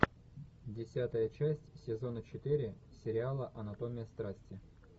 десятая часть сезона четыре сериала анатомия страсти